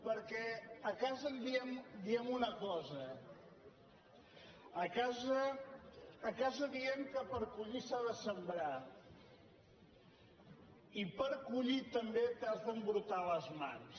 perquè a casa diem una cosa a casa diem que per collir s’ha de sembrar i per collir també t’has d’embrutar les mans